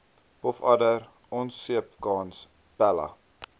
pofadder onseepkans pella